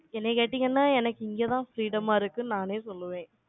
என்னைய கேட்டீங்கன்னா, எனக்கு இங்கதான், freedom ஆ இருக்குன்னு, நானே சொல்லுவேன்.